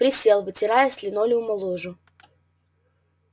присел вытирая с линолеума лужу